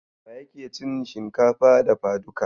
Waye yake cin shinkafa dafaduka?